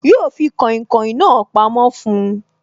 Yo fi kàìnkaìn na pamó fún oy